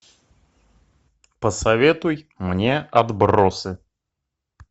посоветуй мне отбросы